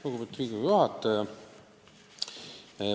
Lugupeetud Riigikogu juhataja!